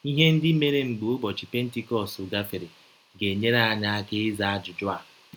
Ihe ndị mere mgbe ụbọchị Pentikọst gafere ga - enyere anyị aka ịza ajụjụ a.